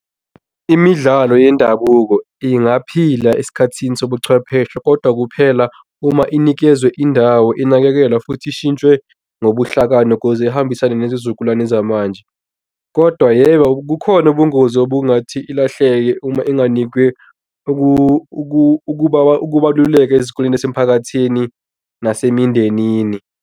Imidlalo yendabuko ingaphila esikhathini sobuchwepheshe, kodwa kuphela uma inikezwe indawo inakekelwa futhi ishintshwe nobuhlakani ukuze ihambisane nezizukulwane yamanje. Kodwa yebo, kukhona ubungozi obungathi ilahleke uma inganikwe ukubaluleka ezikoleni ezisemphakathini nasemindenini.